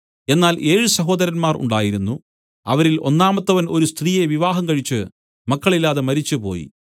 എന്നാൽ ഏഴ് സഹോദരന്മാർ ഉണ്ടായിരുന്നു അവരിൽ ഒന്നാമത്തവൻ ഒരു സ്ത്രീയെ വിവാഹംകഴിച്ച് മക്കളില്ലാതെ മരിച്ചുപോയി